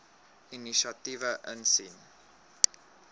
inisiatiewe insien